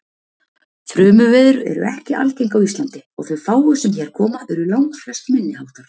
Þrumuveður eru ekki algeng á Íslandi og þau fáu sem hér koma eru langflest minniháttar.